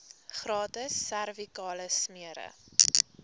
gratis servikale smere